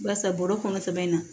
Barisa bɔrɔ kɔnɔ sɛbɛ in na